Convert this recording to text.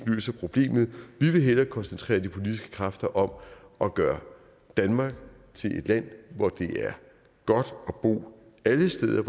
løser problemet vi vil hellere koncentrere de politiske kræfter om at gøre danmark til et land hvor det er godt at bo alle steder